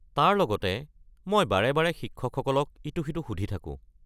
তাৰ লগতে মই বাৰে-বাৰে শিক্ষকসকলক ইটো-সিটো সুধি থাকোঁ।